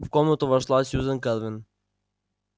в комнату вошла сьюзен кэлвин